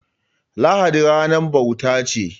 Lahadi ranar bauta ce.